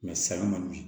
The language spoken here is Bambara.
san man di